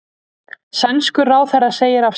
Sænskur ráðherra segir af sér